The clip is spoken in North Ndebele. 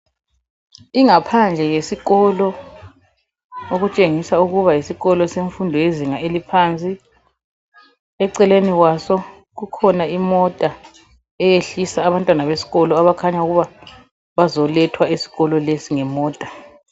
Ingaphandle yesikolo okutshengisa ukuba yisikolo semfundo yezinga eliphansi eceleni kwaso kukhona imota eyehlisa abantwana besikolo abakhanya ukuba bazolethwa esikolo lesi ngemota.